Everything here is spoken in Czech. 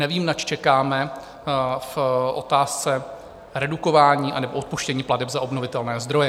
Nevím, nač čekáme v otázce redukování anebo odpuštění plateb za obnovitelné zdroje.